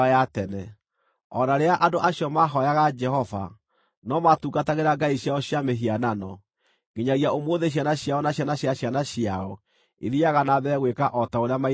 O na rĩrĩa andũ acio mahooyaga Jehova, no maatungatagĩra ngai ciao cia mĩhianano. Nginyagia ũmũthĩ ciana ciao na ciana cia ciana ciao ithiiaga na mbere gwĩka o ta ũrĩa maithe mao meekaga.